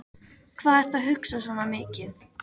Hvað ertu að hugsa svona mikið?